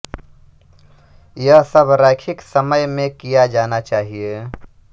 यह सब रैखिक समय में किया जाना चाहिए